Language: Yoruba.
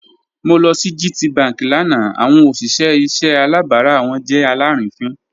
Mo lọ sí GTBank lánà awọn ọṣìṣẹ̀ ìṣẹ̀ àlàbárà wọn jẹ́ alárìínińfín.